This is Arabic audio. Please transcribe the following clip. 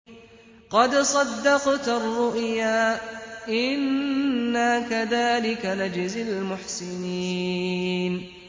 قَدْ صَدَّقْتَ الرُّؤْيَا ۚ إِنَّا كَذَٰلِكَ نَجْزِي الْمُحْسِنِينَ